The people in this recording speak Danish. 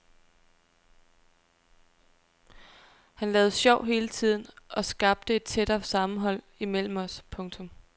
Han lavede sjov hele tiden og skabte et tættere sammenhold imellem os. punktum